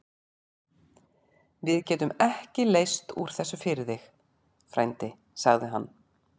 Við getum ekki leyst úr þessu fyrir þig, frændi segir hann.